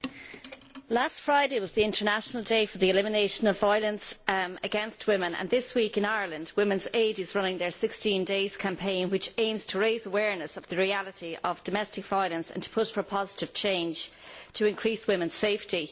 Mr President, last Friday was the International Day for the Elimination of Violence Against Women, and this week in Ireland Women's Aid is running its 16 Days Campaign which aims to raise awareness of the reality of domestic violence and to push for a positive change to increase women's safety.